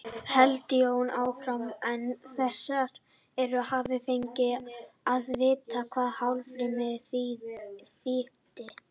hélt Jón áfram, án þess að hafa fengið að vita hvað hálfrím þýddi.